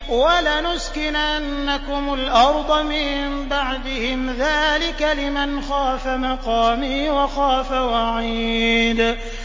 وَلَنُسْكِنَنَّكُمُ الْأَرْضَ مِن بَعْدِهِمْ ۚ ذَٰلِكَ لِمَنْ خَافَ مَقَامِي وَخَافَ وَعِيدِ